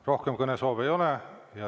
Rohkem kõnesoove ei ole.